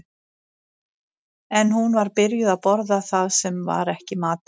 En hún var byrjuð að borða það sem var ekki matur.